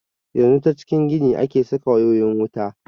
Yanzu ta cikin gini ake saka wayoyin wuta.